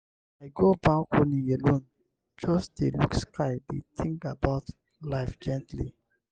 i go balcony alone just dey look sky dey think about life gently.